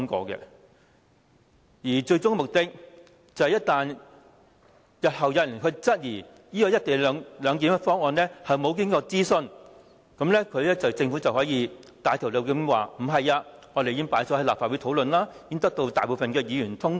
政府的最終目的，就是當日後有人質疑"一地兩檢"議案未經諮詢時，便可以振振有詞指出議案已交由立法會討論，並獲大多數議員通過。